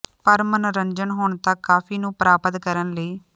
ਪਰ ਮਨੋਰੰਜਨ ਹੁਣ ਤੱਕ ਕਾਫ਼ੀ ਨੂੰ ਪ੍ਰਾਪਤ ਕਰਨ ਲਈ